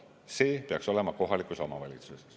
See peaks olema kohalikus omavalitsuses.